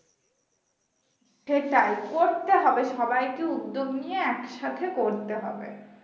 সেটাই করতে হবে সবাইকে উদ্যোগ নিয়ে একসাথে করতে হবে